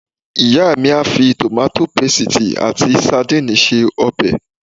Ìyá mi á fi tòmáto pesìtì ati sadínìnnì se ọbẹ̀